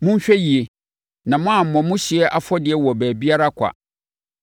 Monhwɛ yie na moammɔ mo hyeɛ afɔdeɛ wɔ baabiara kwa.